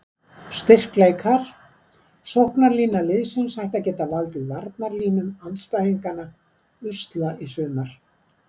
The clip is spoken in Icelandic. Styrkleikar: Sóknarlína liðsins ætti að geta valdið varnarlínum andstæðinganna usla í sumar.